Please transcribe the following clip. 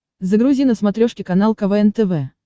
загрузи на смотрешке канал квн тв